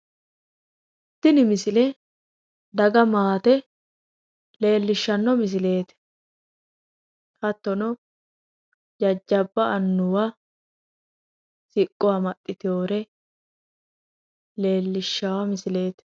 Tini misile daga maate leellishshanno misileeti hattono jajjabba annuwa siqqo amaxxiteyoore leellishshawo misileeti.